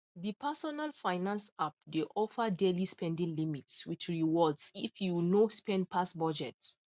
the personal finance app dey offer daily spending limits with rewards if you no spend pass budget